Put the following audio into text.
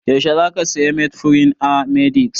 Yaushe zaka saya metformin a h-medix?